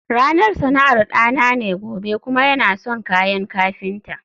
ranar sana'ar dana ne gobe kuma yana son kayan kafinta